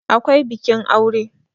akwai bikin aure